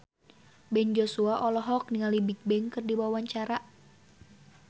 Ben Joshua olohok ningali Bigbang keur diwawancara